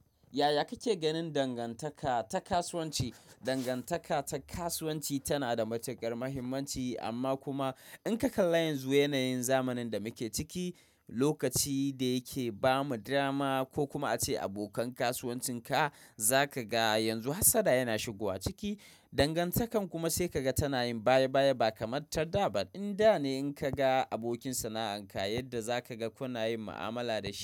Yaya kake ganin dangantaka ta kasuwanci? Dangantaka ta kasuwanci tana da matukar muhimmanci amma kuma in ka kalla yanzu yanayin zamanin da muke ciki, lokaci da yake bamu dama ko kuma ace abokan kasuwancin ka zaka ga yanzu hassada yana shigowa ciki. Dangantakar kuma sai ka ga tana yin baya baya ba kamar ta da ba. Inda ne in ka ga abokin sana'an ka yadda za ka ga kuna yin mu'amala da shi.